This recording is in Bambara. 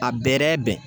A bɛrɛ bɛn